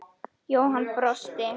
Jóhann brosti.